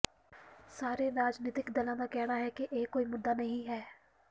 ਸਾਰੇ ਰਾਜਨੀਤਿਕ ਦਲਾਂ ਦਾ ਕਹਿਣਾ ਹੈ ਕਿ ਇਹ ਕੋਈ ਮੁੱਦਾ ਨਹੀਂ ਹੈ